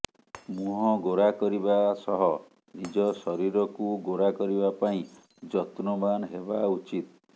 ମୁହଁ ଗୋରା କରିବା ସହ ନିଜ ଶରୀରକୁ ଗୋରା କରିବା ପାଇଁ ଯତ୍ନବାନ ହେବା ଉଚିତ